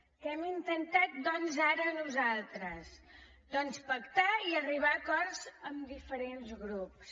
què hem intentat doncs ara nosaltres doncs pactar i arribar a acords amb diferents grups